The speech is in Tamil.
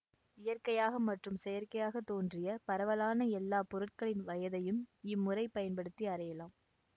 இயற்கையாக மற்றும் செயற்கையாகத் தோன்றிய பரவலான எல்லா பொருட்களின் வயதையும் இம்முறை பயன்படுத்தி அறியலாம்